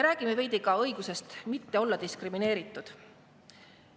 Räägime veidi ka õigusest mitte olla diskrimineeritud.